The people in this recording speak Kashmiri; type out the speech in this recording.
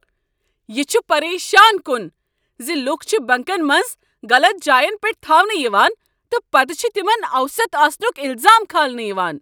یہ چھ پریشان کن ز لوٗکھ چھ بنٛکن منٛز غلط جاین پٮ۪ٹھ تھاونہٕ یوان تہٕ پتہٕ چھ تِمن اوسط آسنک الزام كھالنہٕ یوان۔